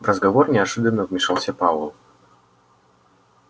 в разговор неожиданно вмешался пауэлл